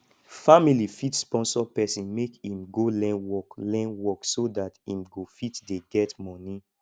family fit sponsor person make im go learn work learn work so dat im go fit dey get money